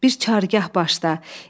Bir Çargah başla.